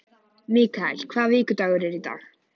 Mikael, hvaða vikudagur er í dag?